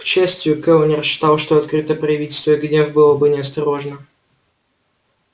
к счастью кэллнер считал что открыто проявить свой гнев было бы неосторожно